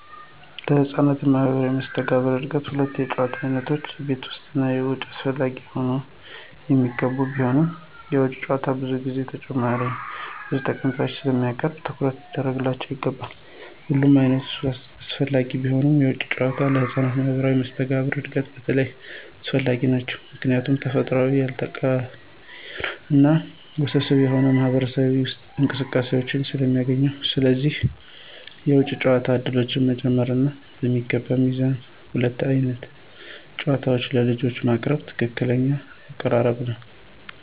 ለህፃናት ማህበራዊ መስተጋብር እድገት ሁለቱም የጨዋታ ዓይነቶች (ቤት ውስጥ እና ውጭ) አስፈላጊ ሆነው የሚገኙ ቢሆንም፣ የውጭ ጨዋታዎች ብዙ ጊዜ ተጨማሪ ብዙ ጠቀሜታዎችን ስለሚያቀርቡ ትኩረት ሊደረግባቸው ይገባል። ሁለቱም ዓይነቶች አስፈላጊ ቢሆኑም፣ የውጭ ጨዋታዎች ለህፃናት ማህበራዊ መስተጋብር እድገት በተለይ አስፈላጊ ናቸው ምክንያቱም ተፈጥሯዊ፣ ያልተዋቀረ እና ውስብስብ የሆኑ ማህበራዊ እንቅስቃሴዎችን ስለሚያስገኙ። ስለሆነም የውጭ ጨዋታ ዕድሎችን በመጨመር እና በሚገባ ሚዛን ሁለቱንም ዓይነት ጨዋታዎች ለልጆች ማቅረብ ትክክለኛው አቀራረብ ነው።